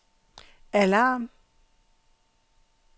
alarm